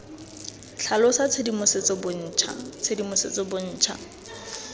tlhalosa tshedimosetso bontsha tshedimosetso bontsha